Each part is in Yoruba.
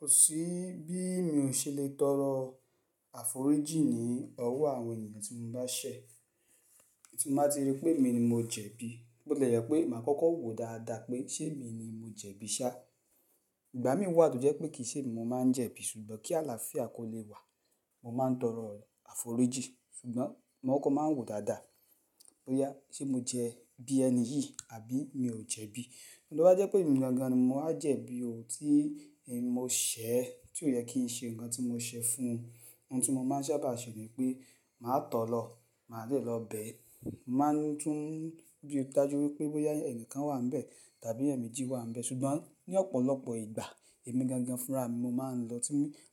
Kò sí bí mi ò ṣe lè tọrọ àforíjì ní ọwọ́ àwọn ènìyàn tí mo bá ṣẹ̀, tí mo bá ti rí pé èmi ni mo jẹ̀bi. Bótile jẹ pé màá kọ́kọ́ wò dáadáa pé ṣé èmi ni mo jẹ̀bi ṣá. Ìgbà mìí wà tó jẹ́ pé kìí ṣemi mo máa ń jẹ̀bi ṣùgbọ́n kí àlàáfíà kó lè wà, mo máa ń tọrọ àforíjì. Ṣùgbọ́n mo kokọ́ máa ń wò dáadáa bóyá ṣe mo jẹbi ẹni yìí àbí mi ò jẹ̀bi. Tí ó bá jẹ́ pé èmi gangán ni mo wá jẹ̀bi ò tí èmi mo ṣẹ̀, tí ò yẹ kí n ṣe nǹkan tí mo ṣẹ fún un. Ohun ti mo máa ń sábà ṣe ni pé màá tọ̀ọ́ lọ̀, màá dé lọ bẹ̀. Máa n tún bi dájú wípé bóyá ẹ̀níkan wà níbẹ̀ tàbí ẹ̀yan mejjí wà níbẹ̀. Ṣùgbọ́n ní ọ̀pọ̀lọpọ̀ ìgbà, èmi gangan fúnra mi mo máa ń lọ tí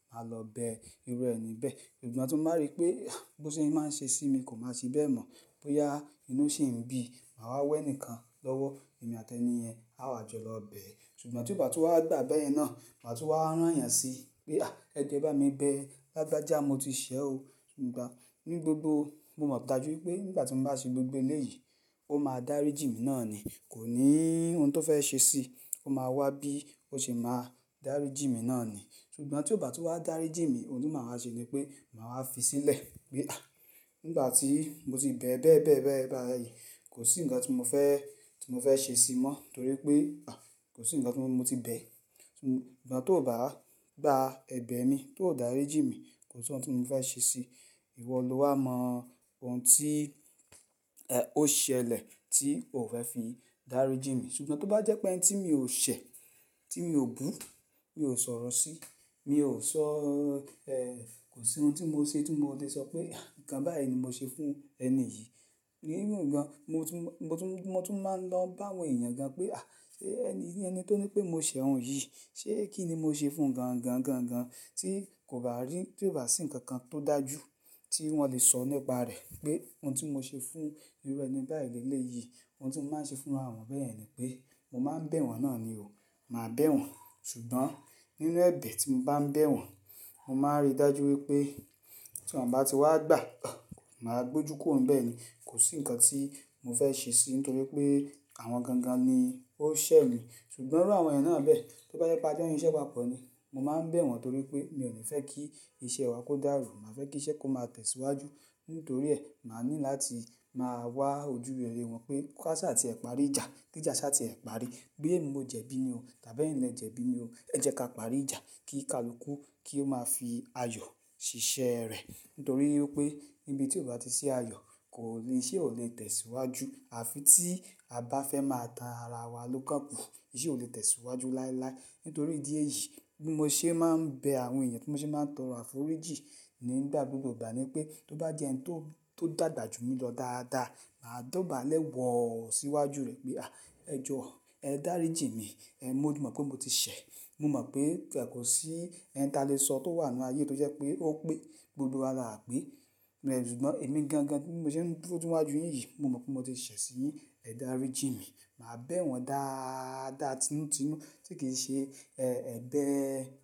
màá lọ bẹ irú ẹni bẹ́ẹ̀. Ṣùgbọ́n tí mo bá rí pé, àh! Bó sé máa ń ṣe sí mi kò máa ṣe bẹ́ẹ̀ mọ̀. Bóyá inú sì ń bí, màá wá wẹ́ni kan lọ́wọ́, èmi àti ẹni yẹn á wà jọ lọ bẹ̀. Ṣùgbọ́n tí o bà tun wá gbà bẹ́ẹ̀ yẹn náà, màá tún wá rán yàn sí i pé, àh! Ẹ joo e bá mi bẹ́, lagbaja mo ti ṣẹ̀ o. Nigba ní gbogbo, mo mọ̀ dájú wípé nígbà tí mo bá ṣe gbogbo eléyìí, ó máa dáríjì mi náà ni. Kò ní ohun tó fẹ́ ṣe sí i, ó máa wá bí ó ṣe máa dáríjì mi náà ni. Ṣùgbọ́n tí ọ̀ ba tun wa dáríjì mi, ohun tí màá wa ṣe ni pé màá wá fi sílẹ̀ pé, àh! Nígbà tí mo ti bẹ̀ ẹ́ bẹ́ẹ̀ bẹ́ẹ̀ bẹ́ẹ̀ bẹ́ẹ̀ bẹ́ẹ̀ bayi kò sí nǹkan ti mo fẹ́ ti mo fẹ́ ṣe sí i mọ́. Nítorí pé, àh! Kò sí nǹkan ti mo ti bẹ̀. Ṣùgbọ́n tó bá gbà ẹ̀bẹ̀ mi, tó dàríjí mi, kò sí ohun tí mo fẹ́ ṣe sí i. Ìwọ ló wà mọ ohun tí, ẹ́, ó ṣẹlẹ̀ tí o fẹ́ fi dáríjì mi. Ṣùgbọ́n tó bá jẹ́ pé ẹni tí mi ò ṣẹ̀, tí mi ò bu, mi ò sọ̀rọ̀ sí i, mi ò sọ́, ẹ́, kò sí ohun tí mo ṣe tí mo lè sọ pé, àh! Ǹkan báyìí ni mo ṣe fún ẹni yìí. Even gan, mo tún, mo tún, mo tún máa ń lọ bá àwọn ènìyàn gan pé, àh! Sé ẹni yii, ẹni tó ní pé mo ṣẹ̀ ọ̀un yìí, ṣé kíni mo ṣe fún gan gan gan gan tí kò bá rí, tí ò bá sí nǹkan kan tó dájú tí wọ́n lè sọ nípa rẹ̀ pé ohun tí mo ṣe fún irú ẹni báyìí lé lé yìí. Ohun tí mo máa ń ṣe fún iru àwọn bẹ́ẹ̀ yẹn ni pé mo máa ń bẹ̀ wọ́n náà ni o. Màá bẹ̀ wọ́n. Ṣùgbọ́n nínú ẹ̀bẹ̀ tí mo bá ń bẹ̀ wọ́n, mo máa rí dájú wípé tí wọ́n bá ti wá gbà, àh! Màá gbójú kuro ń bẹ̀ ni. Kò sí nǹkan tí mo fẹ́ ṣe sí i nítorí pé àwọn gangan ni ó ṣẹ̀ mi. Ṣùgbọ́n irú àwọn ènìyàn náà bẹ́ẹ̀, tí ó bá jẹ pé a jo ń ṣise papọ ni, mo máa ń bẹ̀ wọ́n nítorí pé mi ò ní fẹ́ kí iṣẹ́ wa kó dàrú. Màá fẹ́ kí iṣẹ́ kó máa tẹ̀síwájú. Nítorí ẹ, màá ní láti máa wá ojú rere wọ́n pé ká ṣá tí ẹ parí ìjà, kí ìjà ṣá tí ẹ parí. Boya èmi mo jẹ̀bi ni o tàbí ẹ̀yin lẹ jẹ̀bi ni o, ẹ jẹ́ ká parí ìjà kí kalukú kí ó máa fi ayọ̀ ṣíṣẹ́ rẹ̀. Nítorí wípé níbi tí ó bá ti sí ayọ̀ kò iṣé ò lè tẹ̀síwájú. Àfi tí a bá fẹ́ máa tan ara wa ló kán kù, iṣé ò lè tẹ̀síwájú láéláé. Nítorí ìdí èyí, bí mo ṣe máa ń bẹ àwọn ènìyàn tí mo ṣe máa ń tọrọ àforíjì nígbà gbogbo ìgbà ni pé tó bá jẹ́ ẹni tó tó dàgbà jù mí lọ dáadáa, màá dọ̀bálẹ̀ wọ̀ọ́ síwájú rẹ̀ pé, àh! Ẹ jọ̀ọ́, ẹ dáríjì mi. Ẹ̀n, mo mọ̀ pé mo ti ṣẹ̀. Mo mọ̀ pé, pé kò sí ẹni tí a lè sọ tó wà nínú ayé tó jẹ́ pé ó pé gbogbo wa là á pé. Ṣùgbọ́n èmi gangan bí mo ṣe ń dúró siwájú yin yìi, mo mọ̀ pé mo ti ṣẹ̀ sí yín. Ẹ dáríjì mi. Màá bẹ̀ wọ́n dááádá tinútinú tí kì n ṣe, ẹ́, ẹ̀bẹ̀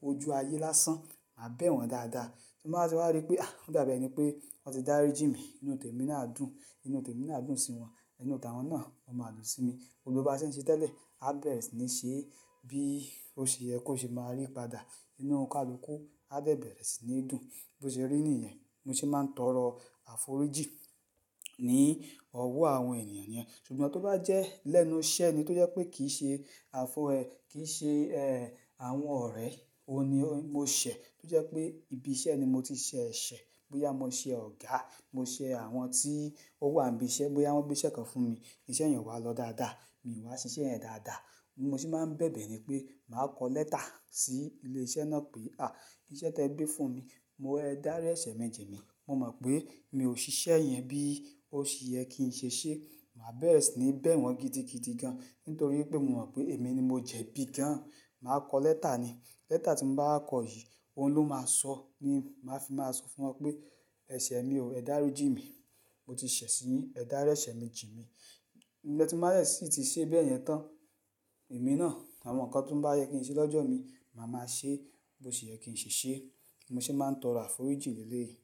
ojú ayé lásán. Màá bẹ̀ wọ́n dáadáa. Timba ti wá rí pé, àh! Ó dàbí ẹni pé wọ́n ti dáríjì mi, inú tèmi náà a dùn. Inú tèmi náà dùn sí wọn. Inú tàwọn náà, o máa dùn sí mi. Gbogbo ba ṣe ń ṣe tẹ́lẹ̀, a bẹ̀rẹ̀ sí ní ṣe bí ó ṣe yẹ kó ṣe máa rí padà. Inú kalukú a de bẹ̀rẹ̀ sí ní dùn. Bó ṣe rí nìyẹn, mo ṣe máa ń tọrọ àforíjì ní ọwọ́ àwọn ènìyàn yẹn. Ṣùgbọ́n tó bá jẹ́ lẹ́nu iṣẹ́ ni tó jẹ́ pé kì í ṣe àfo ẹ, kì í ṣe, ẹ́, àwọn ọ̀rẹ́, òun ni ó, mo ṣẹ̀. Tó jẹ́ pé ibi iṣẹ́ ni mo ti ṣẹ ẹ̀ṣẹ̀. Bóyá mo ṣe ọ̀gá, mo ṣe àwọn tí ó wà níbi iṣẹ́, bóyá wọ́n gbé iṣẹ́ kan fún mi, iṣẹ́ yen o wà lọ dáadáa, mi wá ṣiṣẹ́ yen dáadáa. Bi mo se máa ń bẹ̀bẹ̀ ni pé màá kọ lẹ́tà sí ilé iṣẹ́ náà pé, àh! Iṣẹ́ tí ẹ gbé fún mi, mo ẹ dárí ẹ̀ṣẹ̀ mi ji mi. Mo mọ̀ pé mi ò ṣiṣẹ́ yẹn bí ó ṣe yẹ kí n ṣe ṣe. Màá bẹ̀rẹ̀ sí ní bẹ̀ wọ́n gidi gidi gan. Nítorí wípé mo mọ̀ pé èmi ni mo jẹ̀bi gan. Màá kọ lẹ́tà ni. Lẹ́tà tí mo bá wa kọ yìí, òun ló máa sọ ní, màá fi máa sọ fún wọn pé ẹ̀ṣẹ̀ mi o, ẹ dáríjì mi. Mo ti ṣẹ̀ sí yín, ẹ dárí ẹ̀ṣẹ̀ mi jì mí. Ẹ́ tí mbá yà síi ti ṣe bẹ́ẹ̀ yẹn tán. Èmi náà, àwọn nǹkan tó bá yẹ kí n ṣe lọ́jọ́ mi, màá máa ṣe bó ṣe yẹ kí n ṣe ṣe. Mo ṣe máa ń tọrọ àforíjì lé lé yìí.